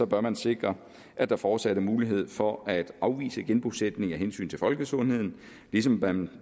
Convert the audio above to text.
bør man sikre at der fortsat er mulighed for at afvise genbosætning af hensyn til folkesundheden ligesom man